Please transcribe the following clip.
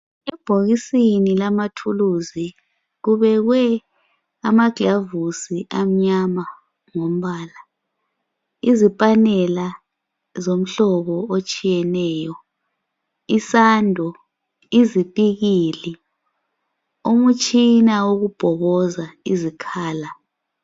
Ebhokisini lama thuluzi kubekwe amaglavusi amnyama ngombala. Izipanela zomhlobo otshiyeneyo, isando, izipikili, umutshina wokubhokoza izikhala.